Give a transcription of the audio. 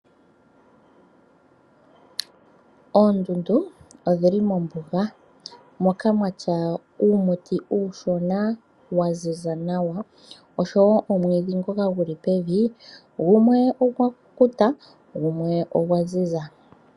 Oondundu odhili mombuga moka muna uumuti uushona wa ziza nawa. Osho wo omwiidhi ngoka guli pevi ,gumwe ogwa kukuta gumwe ogwa ziza.